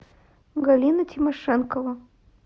галина тимошенкова